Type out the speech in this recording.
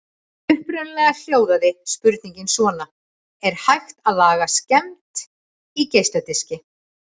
Upprunalega hljóðaði spurningin svona: Er hægt að laga skemmd í geisladiski?